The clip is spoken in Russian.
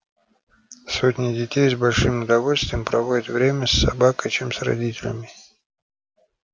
сотни детей с большим удовольствием проводят время с собакой чем с родителями